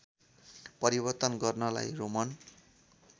परिवर्तन गर्नलाई रोमन